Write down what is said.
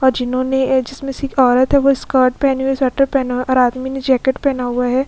और जिन्होंने अ जिसमें एक सिख औरत है वो स्कर्ट पहनी हुई है स्वेटर पहना हुआ है और आदमी ने जैकेट पहना हुआ है ।